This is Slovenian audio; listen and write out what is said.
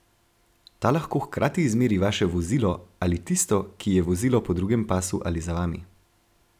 Ta lahko hkrati izmeri vaše vozilo ali tisto, ki je vozilo po drugem pasu ali za vami.